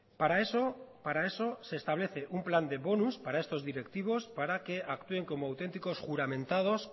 para eso para eso se establece un plan de bonos para estos directivos para que actúen como auténticos juramentados